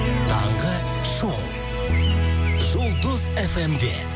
таңғы шоу жұлдыз фм де